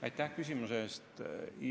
Aitäh küsimuse eest!